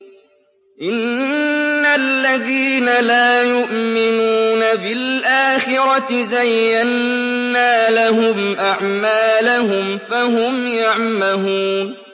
إِنَّ الَّذِينَ لَا يُؤْمِنُونَ بِالْآخِرَةِ زَيَّنَّا لَهُمْ أَعْمَالَهُمْ فَهُمْ يَعْمَهُونَ